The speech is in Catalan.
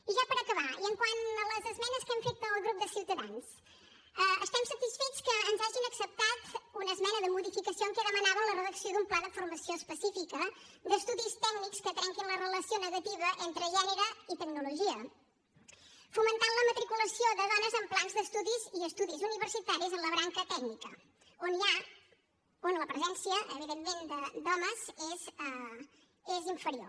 i ja per acabar i quant a les esmenes que hem fet al grup de ciutadans estem satisfets que ens hagin acceptat una esmena de modificació en què demanàvem la redacció d’un pla de formació específica d’estudis tècnics que trenquin la relació negativa entre gènere i tecnologia per fomentar la matriculació de dones en plans d’estudis i estudis universitaris en la branca tècnica on la presència evidentment de dones és inferior